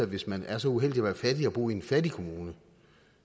hvis man er så uheldig at være fattig og bo i en fattig kommune